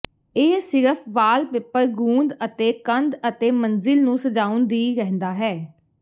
ਇਹ ਸਿਰਫ ਵਾਲਪੇਪਰ ਗੂੰਦ ਅਤੇ ਕੰਧ ਅਤੇ ਮੰਜ਼ਿਲ ਨੂੰ ਸਜਾਉਣ ਦੀ ਰਹਿੰਦਾ ਹੈ